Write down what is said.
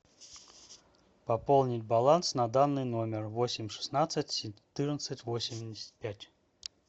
пополнить баланс на данный номер восемь шестнадцать четырнадцать восемьдесят пять